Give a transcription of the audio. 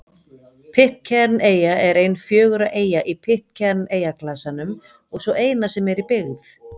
Pitcairn-eyja er ein fjögurra eyja í Pitcairn-eyjaklasanum og sú eina sem er í byggð.